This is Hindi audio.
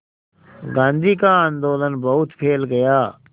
गांधी का आंदोलन बहुत फैल गया